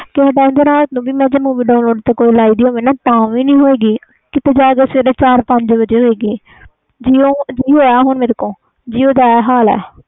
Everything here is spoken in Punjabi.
ਕਿਸੇ ਤੇ ਮੈਂ ਤੇ ਲਈ ਹੋਈ ਹੋਵੇ ਤਾ ਵੀ ਨਹੀਂ ਹੁੰਦੀ ਕੀਤੇ ਜਾ ਕੇ ਸਵੇਰੇ ਚਾਰ ਪੰਜ ਵਜੇ ਹੋਵੇ ਗਈ jio sim ਹੁਣ ਮੇਰੇ ਤੋਂ jio ਦਾ ਇਹ ਹਾਲ ਵ